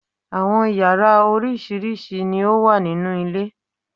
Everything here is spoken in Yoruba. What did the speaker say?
Àwọn yàrá oríṣiríṣi ni o wà nínú ilé